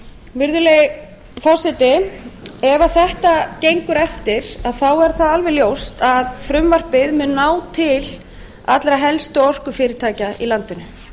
suðurnesja virðulegi forseti ef þetta gengur eftir er alveg ljóst að frumvarpið mun ná til allra helstu orkufyrirtækja í landinu